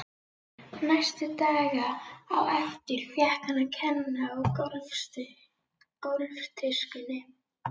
Næstu daga á eftir fékk hann að kenna á gólftuskunni.